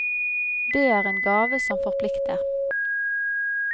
Det er en gave som forplikter.